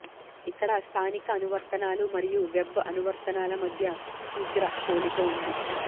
ఇక్కడ స్థానిక అనువర్తనాలు మరియు వెబ్ అనువర్తనాల మధ్య శీఘ్ర పోలిక ఉంది